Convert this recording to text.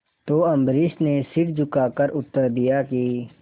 तो अम्बरीश ने सिर झुकाकर उत्तर दिया कि